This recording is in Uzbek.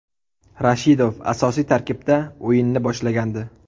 Rashidov asosiy tarkibda o‘yinni boshlagandi.